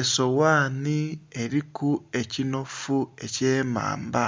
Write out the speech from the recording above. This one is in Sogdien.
Esowani eliku ekinhofu eky'emamba,